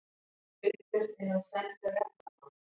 Upplausn innan sænskra jafnaðarmanna